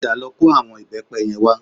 Padà lọ kó àwọn ìbẹ́pẹ yẹn wá